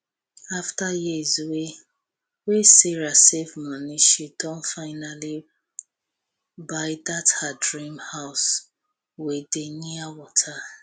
after years wey wey sarah save moni she don finally buy dat her dream house wey dey near wata